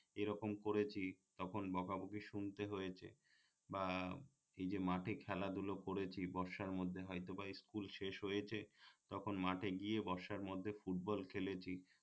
এরকম করেছি তখন বকাবকি শুনতে হয়েছে বা ভিজে মাঠে খেলাধুলো করেছি বর্ষার মধ্যে হয়তো বা স্কুল শেষ হয়েছে তখন মাঠে গিয়ে বর্ষার মধ্যে ফুটবল খেলেছি